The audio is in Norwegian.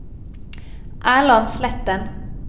Erland Sletten